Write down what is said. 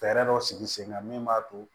Fɛɛrɛ dɔ sigi sen kan min b'a to